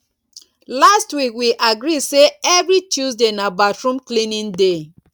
last week we agree sey every tuesday na bathroom cleaning day